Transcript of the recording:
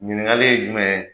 Ɲiningali ye jumɛn ye?